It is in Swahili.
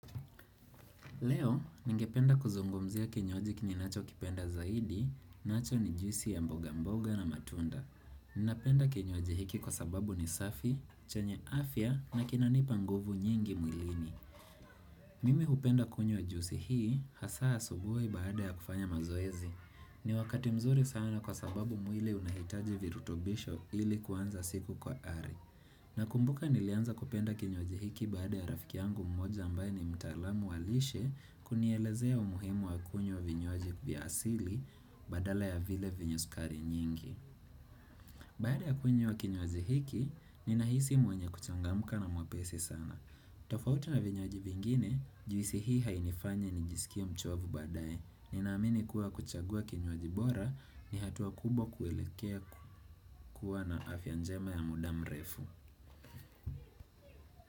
Leo, ningependa kuzungumzia kinywaji ninacho kipenda zaidi, nacho ni juisi ya mboga mboga na matunda. Ninapenda kinywaji hiki kwa sababu ni safi, chenye afya na kinanipa nguvu nyingi mwilini. Mimi hupenda kunywa juisi hii, hasaa asubuhi baada ya kufanya mazoezi. Ni wakati mzuri sana kwa sababu mwili unahitaji virutobisho ili kuanza siku kwa ari. Nakumbuka nilianza kupenda kinywaji hiki baada ya rafiki yangu mmoja ambaye ni mtaalamu wa lishe kunielezea umuhimu wa kunywa vinywaji vya asili badala ya vile vyenye sukari nyingi. Baada ya kunywa kinywaji hiki, ninahisi mwenye kuchangamuka na mwepesi sana. Tofauti na vinywaji vingine, juisi hii hainifanyi nijisikie mchovu badaye. Ninaamini kuwa kuchagua kinywaji bora ni hatuwa kubwa kuwelekea kuwa na afya njema ya muda mrefu.